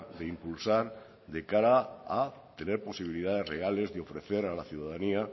de impulsar de cara a tener posibilidades reales de ofrecer a la ciudadanía